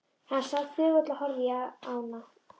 Hann sat þögull og horfði á ána.